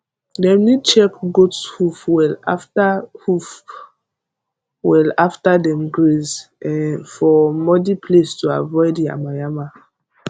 dem need check goat hoof well after hoof well after dem graze um for muddy place to avoid yamayama